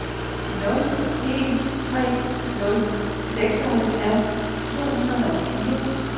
nul en tre nul seksoghalvfjerds to hundrede og fire